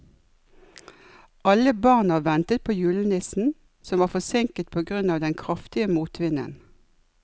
Alle barna ventet på julenissen, som var forsinket på grunn av den kraftige motvinden.